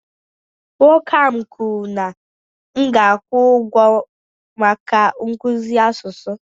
Nwoke ahụ kwuru na m ga-akwụ ụgwọ maka nkuzi asụsụ